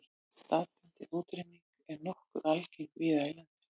Staðbundin útrýming er nokkuð algeng víða í landinu.